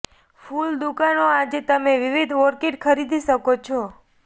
ફૂલ દુકાનો આજે તમે વિવિધ ઓર્કિડ ખરીદી શકો છો